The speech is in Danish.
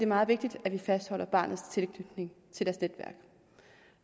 meget vigtigt at vi fastholder barnets tilknytning til dets netværk